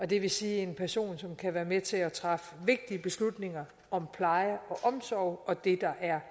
det vil sige en person som kan være med til at træffe vigtige beslutninger om pleje og omsorg og det der er